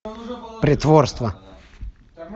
притворство